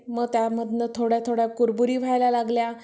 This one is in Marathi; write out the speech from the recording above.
मग त्यामधनं थोड्या कुरबुरी व्हायला लागल्या.